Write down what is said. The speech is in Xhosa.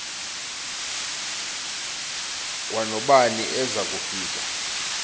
kwanobani eza kufika